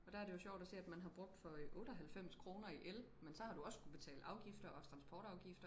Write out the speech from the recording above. og der er det jo sjovt og se at man har brug for 98 kroner i el men så har du også skulle betale afgifter og transportafgift